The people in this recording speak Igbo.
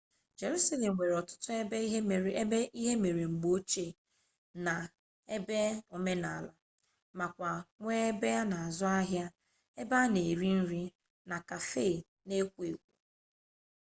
jerusalem nwere otutu ebe ihe mere mgbe ochie na ebe omenala makwa nwee ebe ana azu ahia ebe ana ere nri na cafe n'ekwo ekwo